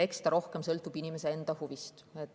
Eks see rohkem sõltub inimese enda huvist.